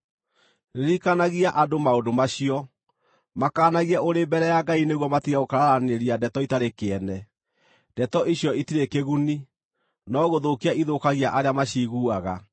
Ririkanagia andũ maũndũ macio. Makaanagie ũrĩ mbere ya Ngai nĩguo matige gũkararanĩria ndeto itarĩ kĩene; ndeto icio itirĩ kĩguni, no gũthũkia ithũkagia arĩa maciiguaga.